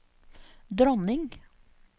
dronning